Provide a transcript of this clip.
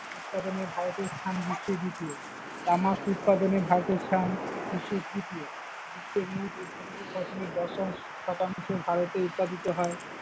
উৎপাদনে ভারতের স্থান বিশ্বে দ্বিতীয়, তামাক উৎপাদনে ভারতের স্থান বিশ্বে তৃতীয়, বিশ্বের মোট উৎপাদিত ফসলের দশ শতাংশ ভারতে উৎপাদিত হয়।